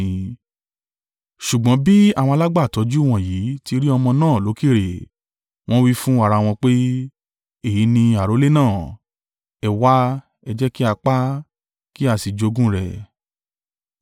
“Ṣùgbọ́n bí àwọn alágbàtọ́jú wọ̀nyí ti rí ọmọ náà lókèèrè, wọ́n wí fún ara wọn pé, ‘Èyí ni àrólé náà. Ẹ wá, ẹ jẹ́ kí a pa á, kí a sì jogún rẹ̀.’